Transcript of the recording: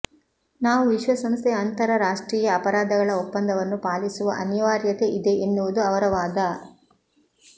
ನಾವು ವಿಶ್ವಸಂಸ್ಥೆಯ ಅಂತರರಾಷ್ಟ್ರೀಯ ಅಪರಾಧಗಳ ಒಪ್ಪಂದವನ್ನು ಪಾಲಿಸುವ ಅನಿವಾರ್ಯತೆ ಇದೆ ಎನ್ನುವುದು ಅವರ ವಾದ